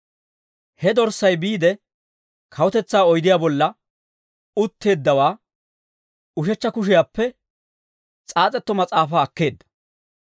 He Dorssay biide, kawutetsaa oydiyaa bolla utteeddawaa ushechcha kushiyaappe s'aas'etto mas'aafaa akkeedda.